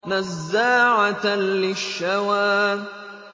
نَزَّاعَةً لِّلشَّوَىٰ